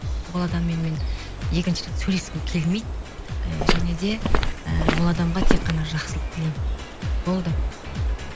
ол адаммен мен екінші рет сөйлескім келмейді і және де і ол адамға тек қана жақсылық тілеймін болды